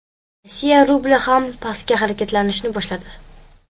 Rossiya rubli ham pastga harakatlanishni boshladi.